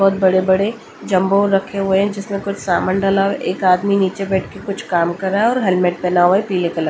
बहुत बड़े-बड़े जंबो रखे हुए हैं जिसमें कुछ सामान डाला है एक आदमी नीचे बैठ के कुछ काम कर रहा है और हेलमेट पहना हुआ है पीले --